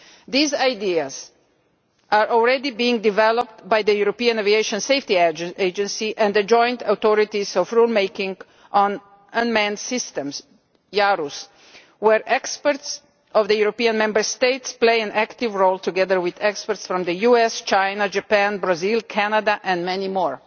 These ideas are already being developed by the European Aviation Safety Agency and the Joint Authorities for Rulemaking on Unmanned Systems where experts from the European Member States play an active role together with experts from the US, China, Japan, Brazil, Canada, and many more.